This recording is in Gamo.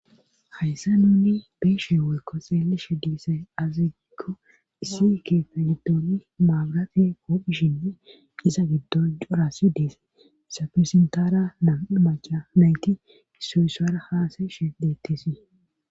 Hayssa nuni beeshe woykko xeelishe diisay aziko issike fegidooni maagrate koophishine isa giddo jorasi deesse isapirsintara naamaca nayti issu issara haasayishe deettisii..